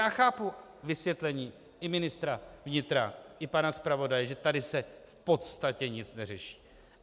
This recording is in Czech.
Já chápu vysvětlení pana ministra vnitra i pana zpravodaje, že tady se v podstatě nic neřeší.